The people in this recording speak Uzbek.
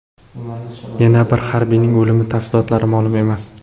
Yana bir harbiyning o‘limi tafsilotlari ma’lum emas.